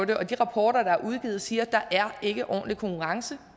det og de rapporter der er udgivet siger at der er en ordentlig konkurrence